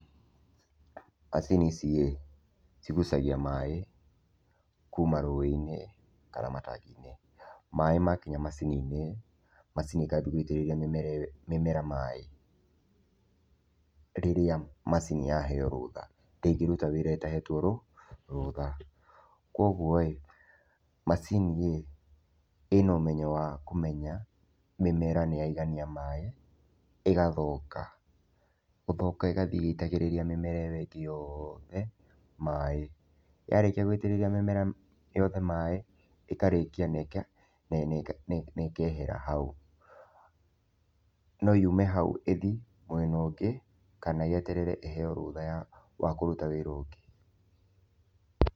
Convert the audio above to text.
Macini ici ĩ, cigucagia maĩ kuma rũĩ-inĩ kana matangi-inĩ. Maĩ makinya macini-inĩ, macini ĩkambia gũitĩrĩria mĩmera ĩyo mĩmera maĩ. Rĩrĩa macini yaheo rũtha, ndĩngĩruta wĩra ĩtahetwo rũtha, koguo ĩ, macini ĩ, ĩna ũmenyo wa kũmenya mĩmera nĩ yaigania maĩ ĩgathonga, gũthonga ĩgathiĩ ĩgĩitagĩrĩria mĩmera ĩyo ĩngĩ yoothe maĩ. Yarĩkia gũitĩrĩria mĩmera yothe maĩ, ĩkarĩkia na ĩkehera hau. No yume hau ĩthi mwena ũngĩ kana yeterere ĩheo rũtha wa kũruta wĩra ũngĩ.